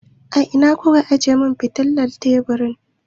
Ina ku ka ajiye min fitilar teburi?